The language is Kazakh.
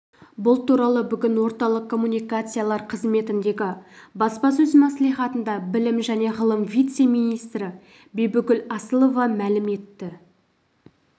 бұл туралы бүгін орталық коммуникациялар қызметіндегі баспасөз мәслихатында білім және ғылым вице-министрі бибігүл асылова мәлім етті